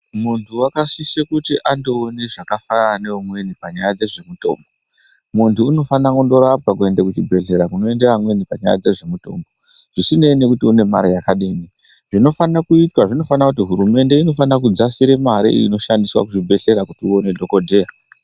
Munthu wakasise kuti andoona zvakafanana neumweni panyaya dzezvemutombo munthu unofana kuenda korapwa kuenda kuzvibhedhlera zvinoitwa ngevamweni zvisinei nekuti une mare yakadini zvinofanire kuitwa zvinofana kuti hurumende inofana kudzasira mare inoshandiswa kuzvibhedhlera kuti uone dhokodheya.